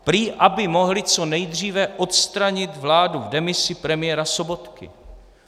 Prý aby mohli co nejdříve odstranit vládu v demisi premiéra Sobotky.